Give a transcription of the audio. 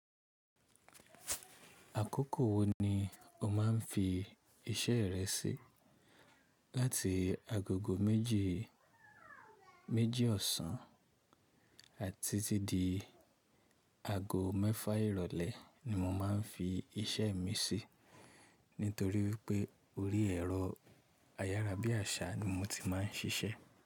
Àkókò wo ni o máa ń fi iṣẹ́ rẹ sí? Láti agogo méjì, méjì ọ̀sán àti tí di ago mẹ́fà ìrọ̀lẹ́ ni mo máa ń fi iṣẹ́ mi sí. Nítorí wípé orí ẹ̀rọ ayára bí àṣá ni mo ti máa ń ṣiṣẹ́.